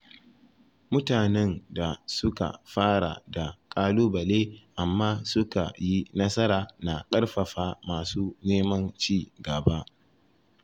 Mutanen da suka fara da ƙalubale amma suka yi nasara na ƙarfafa masu neman ci gaba.